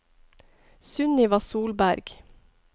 Sunniva Solberg